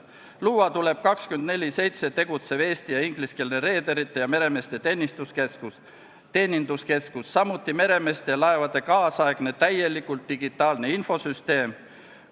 Luua tuleb 24/7 tegutsev eesti- ja ingliskeelne reederite ja meremeeste teeninduskeskus, samuti meremeeste ja laevade tänapäevane, täielikult digitaalne infosüsteem.